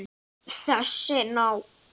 Þessi ná